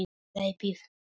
Hlaupið mikla